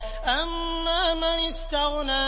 أَمَّا مَنِ اسْتَغْنَىٰ